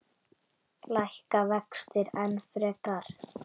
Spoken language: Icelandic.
Lækka vextir enn frekar?